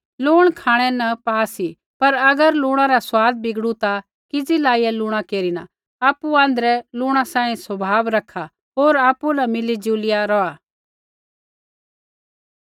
लूण खाँणै न पा सी पर अगर लुणा रा स्वाद बिगड़ू ता किज़ी लाईया लुणा केरना आपु आँध्रै लूण सांही स्वभाव रैखा होर आपु न मिलीजुलिया रौहा